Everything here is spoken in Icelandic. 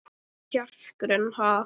Hvar er kjarkurinn, ha?